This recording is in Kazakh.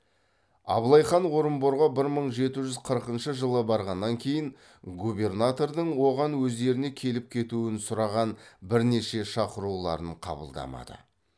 абылай хан орынборға бір мың жеті жүз қырқыншы жылы барғаннан кейін губернатордың оған өздеріне келіп кетуін сұраған бірнеше шақыруларын қабылдамады